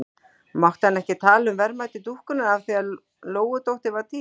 Mátti hann ekki tala um verðmæti dúkkunnar af því að Lóudóttir var týnd?